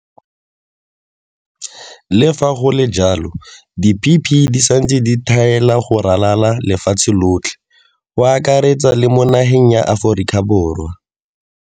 Le fa go le jalo, di-PPE di santse di tlhaela go ralala le lefatshe lotlhe, go akaretsa le mo nageng ya Aforika Borwa.